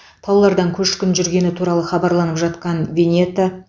таулардан көшкін жүргені туралы хабарланып жатқан венето